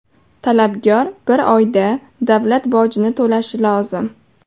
Talabgor bir oyda davlat bojini to‘lashi lozim.